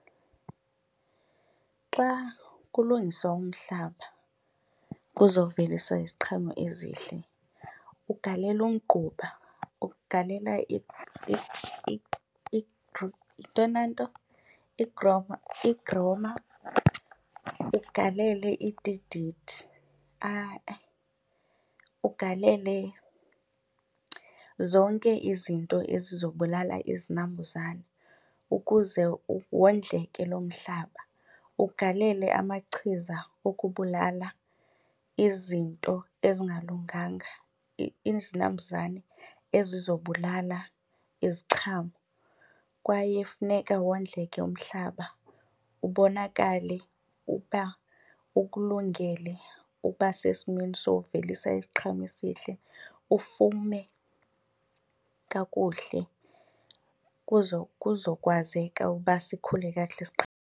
Xa kulungiswa umhlaba kuzoveliswa iziqhamo ezihle ugalela, umgquba ugalela . Yintoni le nto? Ugalele , ugalele zonke izinto ezizobulala izinambuzane ukuze wondleke lo mhlaba. Ugalele amachiza okubulala izinto ezingalunganga izinambuzane ezizobulala iziqhamo. Kwaye funeka wondleke umhlaba ubonakale uba ukulungele ukuba sesimeni sokuvelisa isiqhamo esihle ufume kakuhle kuzokwazeka uba sikhule kakuhle .